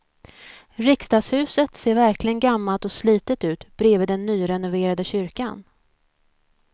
Riksdagshuset ser verkligen gammalt och slitet ut bredvid den nyrenoverade kyrkan.